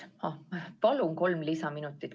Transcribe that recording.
Palun kolm lisaminutit.